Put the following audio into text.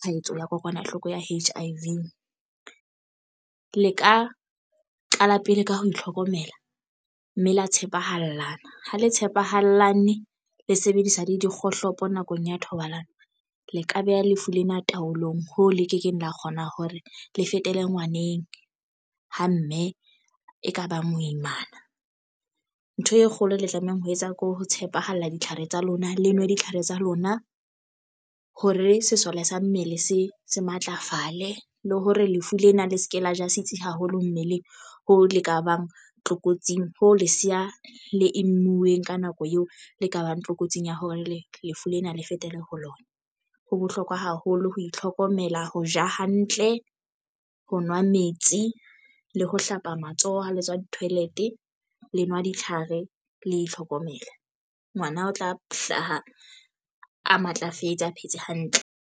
tshwaetso ya kokwanahloko ya H_I_V. Le ka qala pele ka ho itlhokomela mme la tshepahalang ho le tshepahalane le sebedisa le dikgohlopo nakong ya thobalano. Le ka beha lefu lena taolong ho le ke keng la kgona hore le fetela ngwaneng ho mme e ka ba moimana ntho e kgolo le tlamehang ho etsa ke ho tshepahala ditlhare tsa lona. Le nwe ditlhare tsa lona hore sesole sa mmele se se matlafale le hore lefu lena le se ke la ja setsi haholo mmeleng. Hoo leka bang tlokotsing ho leseya le e lemuweng ka nako eo le ka bang tlokotsing ya hore lefu lena le fetele ho lona. Ho bohlokwa haholo ho itlhokomela ho ja hantle, ho nwa metsi le ho hlapa matsoho ha le tswa toilet le nwa ditlhare le itlhokomela. Ngwana o tla hlaha a matlafetse a phetse hantle.